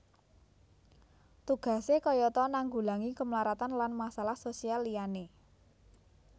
Tugasé kayata nanggulangi kemlaratan lan masalah sosial liyané